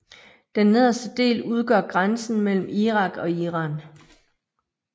Den nederste del udgør grænsen mellem Irak og Iran